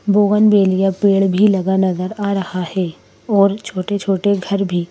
बोगन विलिया पेड़ भी लगा नज़र आ रहा है और छोटे-छोटे घर भी --